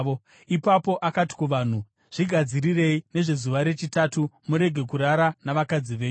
Ipapo akati kuvanhu, “Zvigadzirirei nezvezuva rechitatu. Murege kurara navakadzi venyu.”